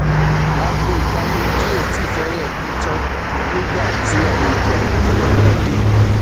aago itaniji o tii fẹrẹẹ ku tan nigba ti alejo airotẹlẹ naa de